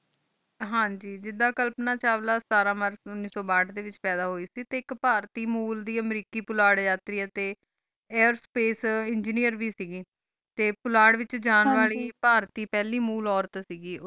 ਹਨ ਗ ਜਿਡਾ ਕਲਪਨਾ ਚਾਵਲਾ ਸਤਰ march ਉਨੀਸ ਸੋ ਭਾਟ ਡੀ ਵਿਚ ਪਾਯਦਾ ਹੋਈ ਕ ਟੀ ਇਕ ਪਾਰਟੀ ਮੂਲ ਦੀ ਅਮਰੀਕੀ ਪੋਲਾਰੀਆਂ ਆਰਤੀਆ ਟੀ ਏਅਰ੍ਸਪ੍ਕੇ engineer ਵ ਕ ਗੀ ਪੋਲਾਰ ਵਿਚ ਜਾਨ ਵਾਲੀ ਪਾਰਟੀ ਪਹਲੀ ਮੂਲ ਓਰਤ ਕ ਗੀ